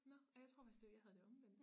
Nå ej jeg tror faktisk det jeg havde det omvendt